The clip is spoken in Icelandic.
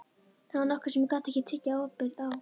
Það var nokkuð sem ég gat ekki tekið ábyrgð á.